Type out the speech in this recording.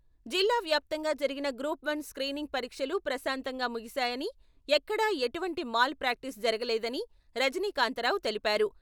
జిల్లావ్యాప్తంగా జరిగిన group one screening పరీక్షలు ప్రశాంతంగా ముగిసాయని ఎక్కడా ఎటువంటి మాల్ ప్రాక్టీస్ జరగలేదని రజనీకాంతారావు తెలిపారు.